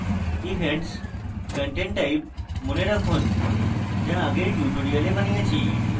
events content type মনে রাখুন যা আগের tutorial বানিয়েছি